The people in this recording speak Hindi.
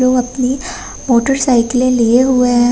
लोग अपनी मोटरसाइकिलें लिए हुए हैं।